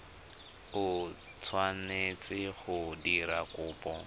o tshwanetseng go dira kopo